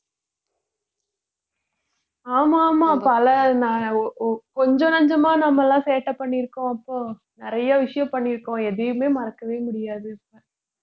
ஆமா ஆமா பல ந~ ஒ~ ஒ~ கொஞ்சம் நஞ்சமா நம்ம எல்லாம் சேட்டை பண்ணிருக்கோம் அப்போ நிறைய விஷயம் பண்ணிருக்கோம் எதையுமே மறக்கவே முடியாது